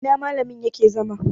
a ina malamin yake zama?